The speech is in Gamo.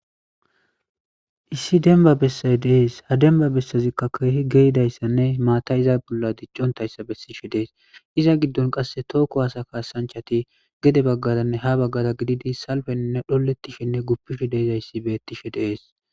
Issi denba bessaz dees ha demba bessazikka keehi geidayssanne maata iza bolla diccontayssa bessishe dees iza giddon qasse tookko haasa kaasanchati gede baggaranne ha baggara gididi salfenne dholettishenne guppishe deizayssi bettishe deees.